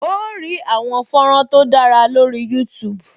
O óò rí àwọn fọ́nrán tó dára lórih Youtube